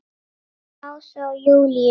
Ása og Júlíus.